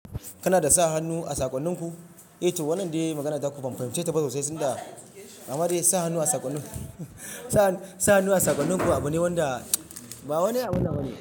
Kana dasa hannu a sakonninku? Eh to wannan dai maganar taku ban fahimce ba sosai, tinda, ammadai, sa hannu a sakonninku. Abune wanda ba wani abunnan bane.